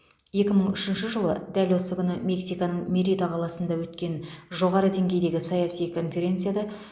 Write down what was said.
екі мың үшінші жылы дәл осы күні мексиканың мерида қаласында өткен жоғары деңгейдегі саяси конференцияда